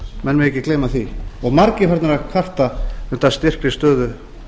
menn mega ekki gleyma því og margir farnir að kvarta undan styrkri stöðu